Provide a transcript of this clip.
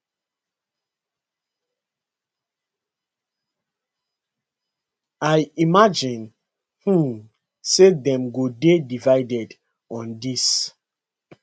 i imagine um say dem go dey divided on dis